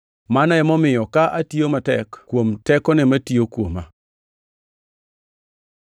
Mano emomiyo ka atiyo matek kuom tekone matiyo kuoma.